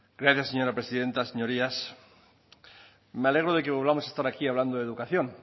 gracias señora presidenta señorías me alegro de que volvamos a estar aquí hablando de educación